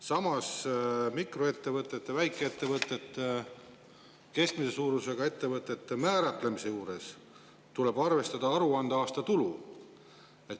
Samas, mikroettevõtete, väikeettevõtete ja keskmise suurusega ettevõtete määratlemise juures tuleb arvestada aruandeaasta tulu.